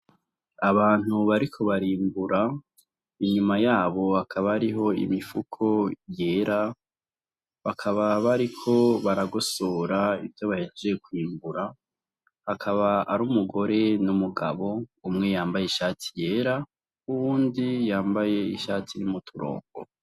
Abantu bariko barimbura inyuma yabo hakaba ariho imifuko yera bakaba bariko baragosora ivyo bahejeje kwimbura akaba ari umugore n'umugabo umwe yambaye ishati yera uwundi yambaye ishati rimw'umuturongo.